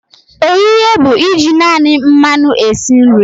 Ohihe bụ iji naani mmanu esi nri.